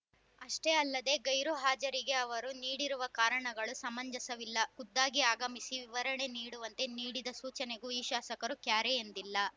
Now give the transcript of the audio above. ಅಷ್ಟೇ ಅಲ್ಲದೆ ಗೈರು ಹಾಜರಿಗೆ ಅವರು ನೀಡಿರುವ ಕಾರಣಗಳು ಸಮಂಜಸವಿಲ್ಲ ಖುದ್ದಾಗಿ ಆಗಮಿಸಿ ವಿವರಣೆ ನೀಡುವಂತೆ ನೀಡಿದ ಸೂಚನೆಗೂ ಈ ಶಾಸಕರು ಕ್ಯಾರೆ ಎಂದಿಲ್ಲ